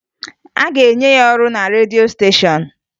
A ga-enye ya ọrụ na redio steshọn